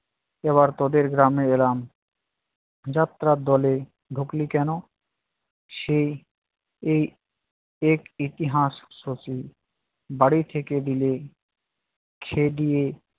এবার তোদের গ্রামে এলাম। যাত্রার দলে ডুকলি কেন? সে এই এক ইতিহাস শশী। বাড়ি থেকে দিলে, খেদিয়ে